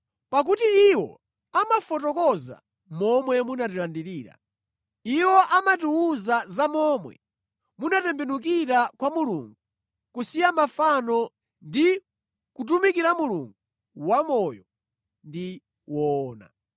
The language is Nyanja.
pakuti iwo amafotokoza za momwe munatilandirira. Iwo amatiwuza za momwe munatembenukira kwa Mulungu kusiya mafano ndi kutumikira Mulungu wamoyo ndi woona.